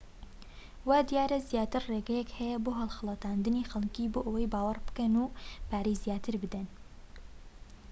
وا دیارە زیاتر لە ڕێگەیەک هەیە بۆ هەڵخەڵەتاندنی خەلکی بۆ ئەوەی باوەڕ بکەن و پارەی زیاتر بدەن